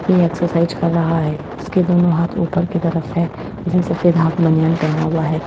यह एक्सरसाइज कर रहा है इसके दोनों हाथ ऊपर की तरफ हैं इसने सफेद हाफ बनियान पहना हुआ है।